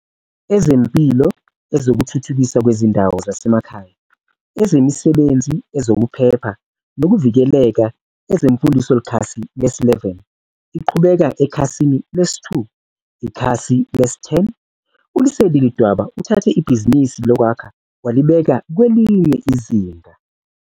Ezempilo Ezokuthuthukiswa Kwezindawo Zasemakhaya Ezemisebenzi Ezokuphepha Nokuvikeleka EzemfundoIkhasi lesi-11. Iqhubeka ekhasini lesi-2. Ikhasi lesi-10. ULesedi Ledwaba uthathe ibhizinisi lokwakha walibeka kwelinye izinga.